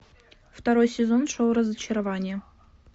второй сезон шоу разочарование